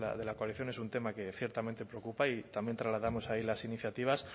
de la coalición es un tema que ciertamente preocupa y también trasladamos ahí las iniciativas